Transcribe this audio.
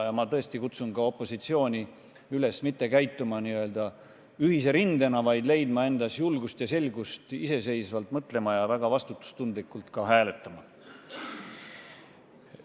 Ma tõesti kutsun opositsiooni üles mitte käituma n-ö ühise rindena, vaid leidma endas julgust iseseisvalt mõelda ja väga vastutustundlikult hääletada.